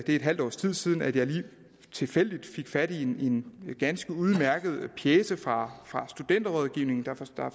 et halvt års tid siden at jeg lige tilfældigt fik fat i en ganske udmærket pjece fra studenterrådgivningen der